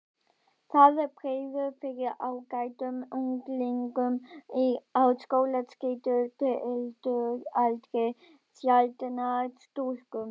Það bregður fyrir ágætum unglingum á skólaskyldualdri, sjaldnar stúlkum.